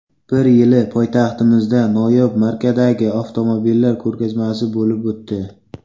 Bir yili poytaxtimizda noyob markadagi avtomobillar ko‘rgazmasi bo‘lib o‘tdi.